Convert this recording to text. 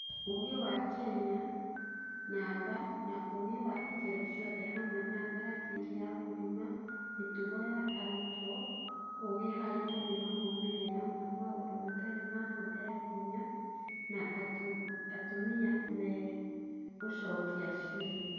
ũgĩ wa Kenya, namba, na ũgĩ wa ikĩro ciothe hamwe na ratiri ya gũthima mĩtugo ya arutwo ũgĩ harĩ gũthima moimĩrĩra ma maũndũ matarĩ ma hũthĩra hinya, na atumia meagũcokia cioria.